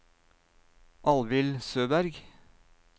Alvhild Søberg